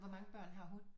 Hvor mange børn har hun